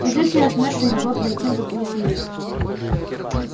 и известие о смерти могло прийти в любую семью